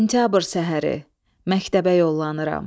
Sentyabr səhəri məktəbə yollanıram.